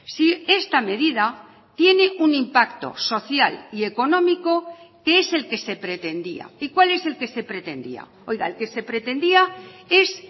si esta medida tiene un impacto social y económico que es el que se pretendía y cuál es el que se pretendía oiga el que se pretendía es